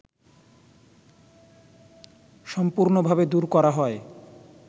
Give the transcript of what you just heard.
সম্পূর্ণভাবে দূর করা হয়